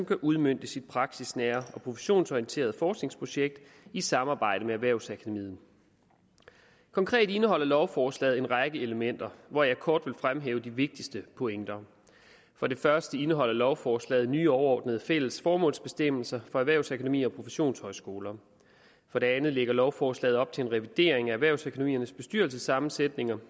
udmøntes i praksisnære og professionsorienterede forskningsprojekter i samarbejde med erhvervsakademiet konkret indeholder lovforslaget en række elementer hvoraf jeg kort vil fremhæve de vigtigste pointer for det første indeholder lovforslaget nye overordnede fælles formålsbestemmelser for erhvervsakademier og professionshøjskoler for det andet lægger lovforslaget op til en revidering af erhvervsakademiernes bestyrelsessammensætning